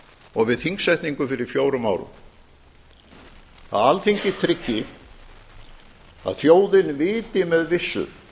og við þingsetningu fyrir fjórum árum að alþingi tryggi að þjóðin viti með vissu